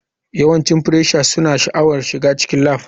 Yawancin freshers suna sha'awar shiga cikin lab.